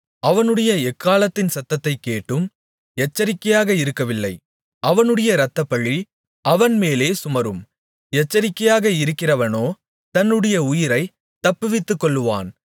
அவனுடைய எக்காளத்தின் சத்தத்தைக் கேட்டும் எச்சரிக்கையாக இருக்கவில்லை அவனுடைய இரத்தப்பழி அவன் மேலே சுமரும் எச்சரிக்கையாக இருக்கிறவனோ தன்னுடைய உயிரைத் தப்புவித்துக்கொள்ளுவான்